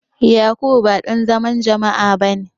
Yakubu ba dan zaman jama'a bane.